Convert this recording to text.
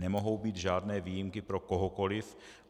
Nemohou být žádné výjimky pro kohokoliv.